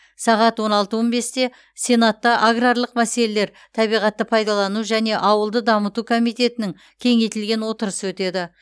сағат он алты он бесте сенатта аграрлық мәселелер табиғатты пайдалану және ауылды дамыту комитетінің кеңейтілген отырысы өтеді